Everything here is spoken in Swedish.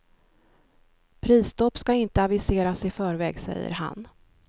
Prisstopp ska inte aviseras i förväg, säger han.